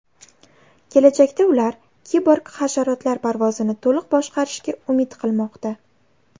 Kelajakda ular kiborg hasharotlar parvozini to‘liq boshqarishga umid qilmoqda.